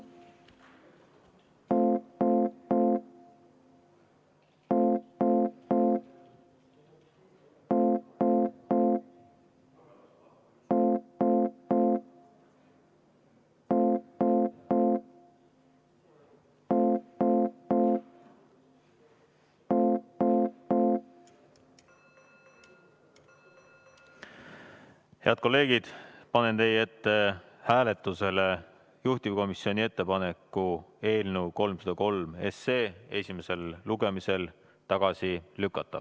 Head kolleegid, panen teie ette hääletusele juhtivkomisjoni ettepaneku eelnõu 303 esimesel lugemisel tagasi lükata.